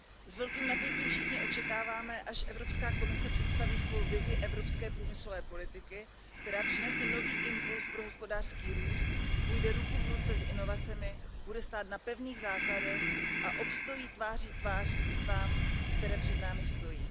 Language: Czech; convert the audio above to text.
S velkým napětím všichni očekáváme, až Evropská komise představí svou vizi evropské průmyslové politiky, která přinese nový impuls pro hospodářský růst, půjde ruku v ruce s inovacemi, bude stát na pevných základech a obstojí tváří v tvář výzvám, které před námi stojí.